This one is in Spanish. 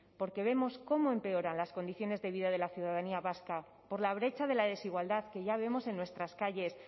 porque vemos cómo empeoran las condiciones de vida de la ciudadanía vasca por la brecha de la desigualdad que ya vemos en nuestras calles